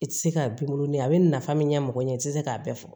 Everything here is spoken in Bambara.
I tɛ se k'a binkolon ni a bɛ nafa min ɲɛmɔgɔ ɲɛ i tɛ se k'a bɛɛ fɔ